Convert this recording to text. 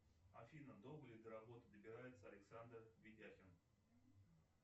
афина долго ли до работы добирается александр ведяхин